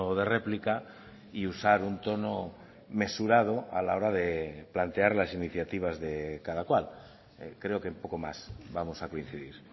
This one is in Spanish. de réplica y usar un tono mesurado a la hora de plantear las iniciativas de cada cual creo que en poco más vamos a coincidir